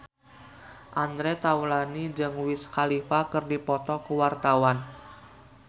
Andre Taulany jeung Wiz Khalifa keur dipoto ku wartawan